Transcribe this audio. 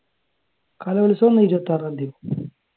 കലോത്സവം ആണോ ഇരുപത്തി ആറാം തീയതി?